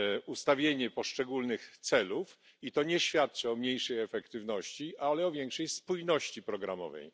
ustawienie poszczególnych celów i to nie świadczy o mniejszej efektywności, ale o większej spójności programowej.